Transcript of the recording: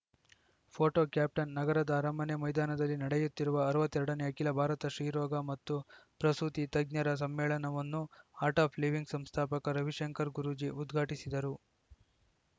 photo caption ನಗರದ ಅರಮನೆ ಮೈದಾನದಲ್ಲಿ ನಡೆಯುತ್ತಿರುವ ಅರವತ್ತ್ ಎರಡನೇ ಅಖಿಲ ಭಾರತ ಶ್ರೀರೋಗ ಮತ್ತು ಪ್ರಸೂತಿ ತಜ್ಞರ ಸಮ್ಮೇಳನವನ್ನು ಆರ್ಟ್‌ ಆಫ್‌ ಲಿವಿಂಗ್‌ ಸಂಸ್ಥಾಪಕ ರವಿಶಂಕರ್‌ ಗುರೂಜಿ ಉದ್ಘಾಟಿಸಿದರು